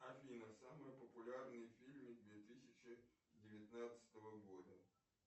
афина самые популярные фильмы две тысячи девятнадцатого года